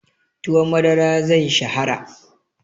Tuwon madara zai shahara.